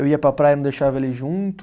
Eu ia para a praia, não deixava ela ir junto.